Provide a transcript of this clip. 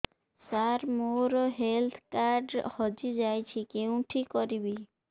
ସାର ମୋର health card ହଜି ଯାଇଛି କେଉଁଠି କରିବି